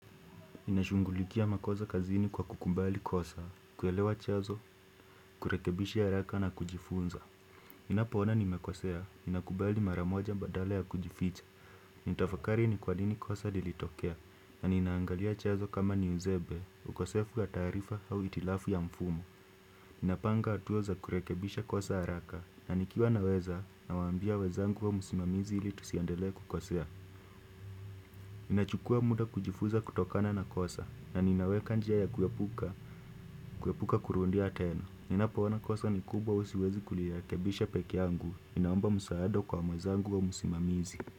Ninashungulikia makosa kazini kwa kukumbali kosa, kuelewa chanzo, kurekebisha haraka na kujifunza ninapoona nimekosea, ninakubali maramoja badala ya kujificha nitafakari ni kwa nini kosa lilitokea, na ninaangalia chazo kama ni uzembe, ukosefu ya taarifa au itilafu ya mfumo napanga atua za kurekebisha kosa haraka, na nikiwa naweza, na waambia wezangu au musimamizi ili tusiendelee kukosea Nina chukua muda kujifuza kutokana na kosa na ninawekanjia ya kuepuka, kuepuka kurundia tena. Nina poona kosa ni kubwa au siwezi kuli rekebisha peke yangu. Ninaomba msaada kwa mwenzangu au musimamizi.